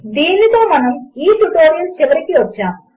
దీనితో మనము ఈ ట్యుటోరియల్ చివరికి వచ్చాము